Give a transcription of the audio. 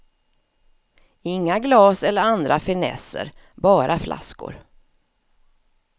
Inga glas eller andra finesser, bara flaskor.